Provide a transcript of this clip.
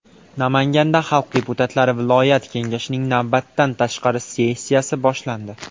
Namanganda xalq deputatlari viloyat kengashining navbatdan tashqari sessiyasi boshlandi.